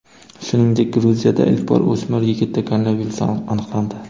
Shuningdek, Gruziyada ilk bor o‘smir yigitda koronavirus aniqlandi .